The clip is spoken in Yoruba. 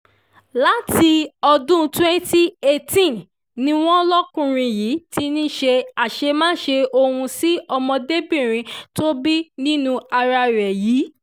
láti ọdún 2018 ni wọ́n lọ́kùnrin yìí ti ń ṣe àṣemáṣe ọ̀hún sí ọmọdébìnrin tó bí nínú ara ẹ̀ yìí